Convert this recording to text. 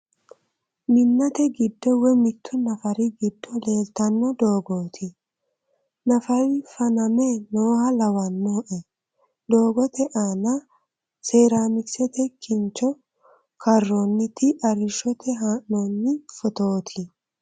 Minnate giddo woy mittu nafari giddo leeltanno dogooti .nafari faname nooha lawannoe . Doogote aana seeramikisete kincho karroonniite arrishshote haa'noonni footooti.